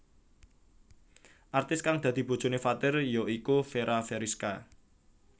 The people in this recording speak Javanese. Artis kang dadi bojoné Fathir ya iku Fera Feriska